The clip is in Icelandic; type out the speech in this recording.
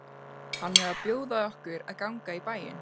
Hann er að bjóða okkur að ganga í bæinn.